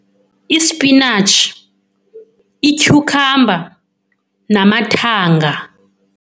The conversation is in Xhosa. Ispinatshi, ityhukhamba namathanga.